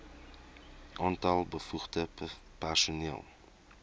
aantal bevoegde personeel